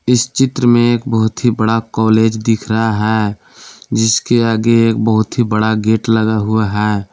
इस चित्र में एक बहुत ही बड़ा कॉलेज दिख रहा है जिस के आगे एक बहुत ही बड़ा गेट लगा हुआ है।